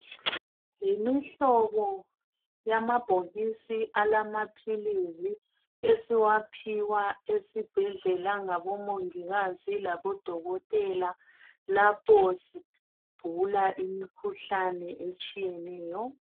Yimihlobo yamabhokisi alamaphilisi esiwaphiwa esibhedlela ngabomongikazi labodokotela lapho sigula imikhuhlane etshiyeneyo